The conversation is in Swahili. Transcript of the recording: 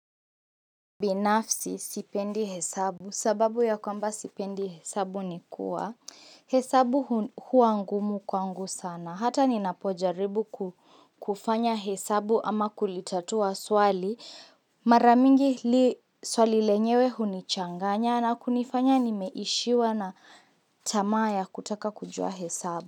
Binafsi, sipendi hesabu, sababu ya kwamba sipendi hesabu ni kuwa, hesabu huwa ngumu kwangu sana, hata ninapojaribu kufanya hesabu ama kulitatua swali, mara mingi swali lenyewe hunichanganya na kunifanya nimeishiwa na tamaa ya kutaka kujua hesabu.